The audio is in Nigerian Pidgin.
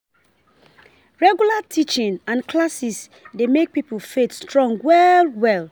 Regular teaching and classes dey make pipo faith strong well well